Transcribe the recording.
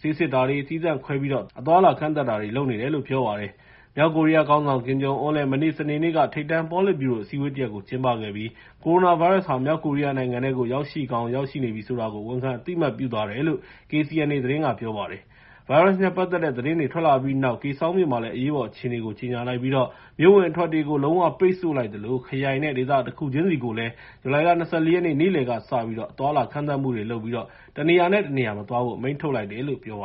ဆေးစစ်တာတွေ သီးသန့်ခွဲပြီးတော့ အသွားအလာ ကန့်သတ်တာတွေ လုပ်နေတယ်လို့ ပြောပါတယ်။ မြောက်ကိုရီးယားခေါင်းဆောင် Kim Jong Un လည်း မနေ့ စနေနေ့က ထိပ်တန်း ပေါ်လစ်ဗျူရို အစည်းအဝေးတရပ် ကျင်းပခဲ့ပြီး ကိုရိုနာဗိုင်းရပ်စ်ပိုးဟာ မြောက်ကိုရီးယားနိုင်ငံထဲကို ရောက်ရှိကောင်း ရောက်ရှိနေပြီ ဆိုတာကို ဝန်ခံ အသိအမှတ် ပြုသွားတယ်လို့ KCNA က ပြောပါတယ်။ ဗိုင်းရပ်စ်နဲ့ပတ်သက်တဲ့သတင်း ထွက်လာပြီးနောက် Kaesong မြို့မှာ အရေးပေါ်အခြေအနေ ကြေညာလိုက်ပြီးတော့ မြို့အဝင်အထွက်တွေကို လုံး၀ ပိတ်ဆု့ိလိုက်သလို ခရိုင်နဲ့ ဒေသတခုချင်းစီကိုလည်း ဇူလိုင် ၂၄ ရက်နေ့ နေ့လယ်ကစပြီး အသွားအလာ ကန့်သတ်မှုတွေလုပ်ပြီး တနေရာနဲ့ တနေရာ မသွားဖို့ အမိန့်ထုတ်လိုက်တယ်လို့ ပြောပါ